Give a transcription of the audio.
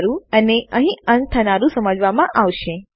મારા ખ્યાલથી આ હું મારા એકો ફંક્શન ટ્યુટૉરીયલમાં સમજાવી ચૂકયો છુ